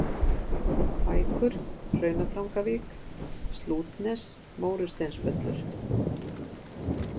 Kvækur, Hrauntangavík, Slútnes, Mórusteinsvöllur